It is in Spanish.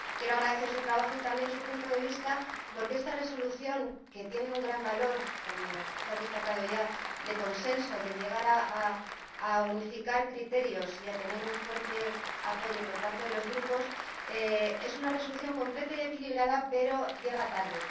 Quiero agradecer su trabajo y también su punto de vista, porque esta propuesta de Resolución, que tiene un gran valor —como se ha destacado ya— de consenso, que ha logrado unificar criterios y tener un fuerte apoyo por parte de los grupos, es una propuesta de Resolución completa y equilibrada pero llega tarde.